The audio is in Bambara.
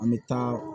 An bɛ taa